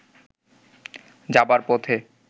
যাবার পথে